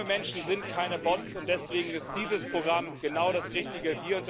Junge Menschen sind keine Bots, und deswegen ist dieses Programm genau das Richtige.